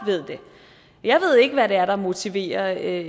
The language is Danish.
ved det jeg ved ikke hvad det er der motiverer